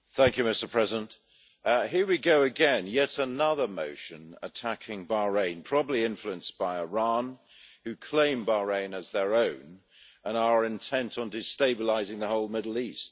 Mr President, here we go again yet another motion attacking Bahrain probably influenced by Iran, who claim Bahrain as their own and are intent on destabilising the whole Middle East.